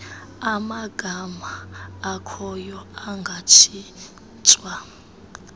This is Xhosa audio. amagama akhoyo angatshintshwa